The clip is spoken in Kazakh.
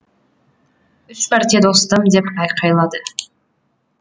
үш мәрте достым деп айқайлады